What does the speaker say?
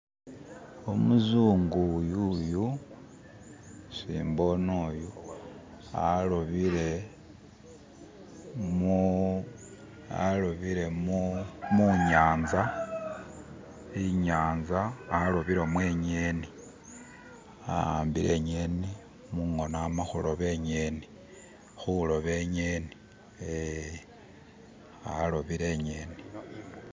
umuzungu uyuyu isi mbone yu alobile munyanza inyeni, awambile mungono inyeni amahuloba inyeni